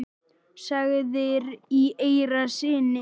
sagðir í eyra syni.